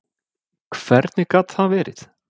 Hvernig gat það verið?